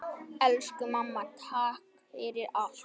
Elsku mamma, takk fyrir allt!